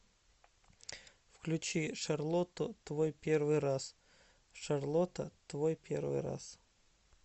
включи шарлоту твой первый раз шарлота твой первый раз